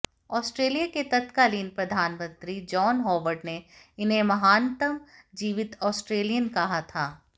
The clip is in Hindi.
ऑस्ट्रेलिया के तत्कालीन प्रधानमंत्री जॉन हॉवर्ड ने इन्हें महानतम जीवित ऑस्ट्रेलियन कहा था